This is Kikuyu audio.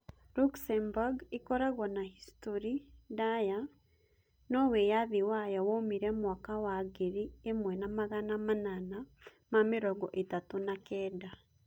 Luxembourg ĩkoragwo na historĩ ndaaya, no wĩyathi wayo woimire mwaka wa ngiri ĩmwe na magana manana ma mĩrongo ĩtatu na kenda [1839.]